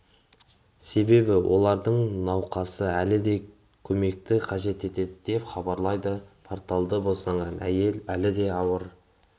себебі олардың науқасы әлі де көмекті қажет етеді деп хабарлайды порталы босанған әйел әлі де ауыр